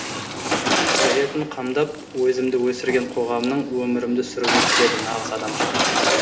қажетін қамдап өзімді өсірген қоғамның өмірімді сүргім келеді нағыз адамша